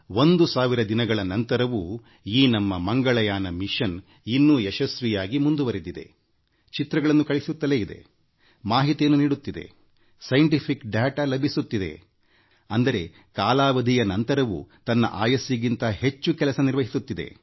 1000 ದಿನಗಳ ನಂತರವೂ ಈ ನಮ್ಮಮಂಗಳಯಾನ ಇನ್ನೂ ಯಶಸ್ವಿಯಾಗಿ ಮುಂದುವರೆದಿದೆ ಚಿತ್ರಗಳನ್ನು ಕಳುಹಿಸುತ್ತಲೇ ಇದೆ ಮಾಹಿತಿಯನ್ನು ನೀಡುತ್ತಿದೆ ತನ್ನ ನಿಗದಿತ ಕಾಲಾವಧಿಯ ಬಳಿಕವೂ ವೈಜ್ಞಾನಿಕ ದತ್ತಾಂಶಗಳನ್ನು ಸಂಗ್ರಹಿಸುತ್ತಿದೆ ಆಯುಷ್ಯ ಮೀರಿ ಕಾರ್ಯ ನಿರ್ವಹಿಸುತ್ತಿದೆ